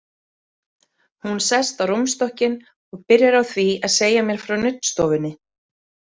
Hún sest á rúmstokkinn og byrjar á því að segja mér frá nuddstofunni.